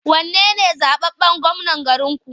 Wane ne zaɓaɓɓen gwamnan garinku?